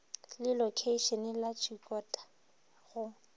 le lokheišene la tshikota go